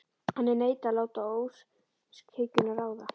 En ég neita að láta óskhyggjuna ráða.